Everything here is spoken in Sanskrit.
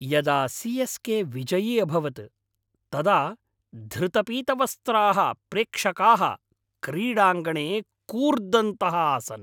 यदा सि.एस्.के. विजयी अभवत् तदा धृतपीतवस्त्राः प्रेक्षकाः क्रीडाङ्गणे कूर्दन्तः आसन्।